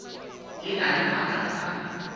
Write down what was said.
e na le maatla a